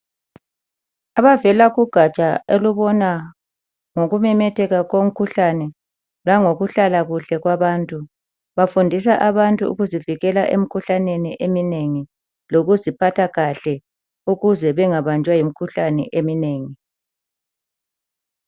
Abavela kugatsha olubona ngokumemetheka komkhuhlane langokuhlala kuhle kwabantu, bafundisa abantu ukuzivikela emikhuhlaneni eminengi lokuziphatha kahle ukuze bengabanjwa yimikhuhlane eminengi.